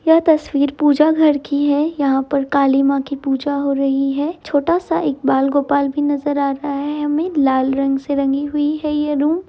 यह तस्वीर पूजा घर की है यहाॅं पर काली माँ की पूजा हो रही है छोटा सा एक बाल गोपाल भी नज़र आ रहा है हमें लाल रंग से रंगी हुई है ये रूम ।